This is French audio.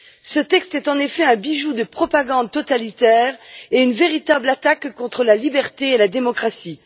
Ce texte est, en effet, un bijou de propagande totalitaire et une véritable attaque contre la liberté et la démocratie.